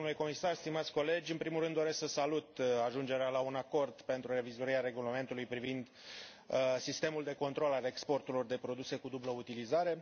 Domnule președinte, domnule comisar, stimați colegi, în primul rând doresc să salut ajungerea la un acord pentru revizuirea Regulamentului privind sistemul de control al exporturilor de produse cu dublă utilizare.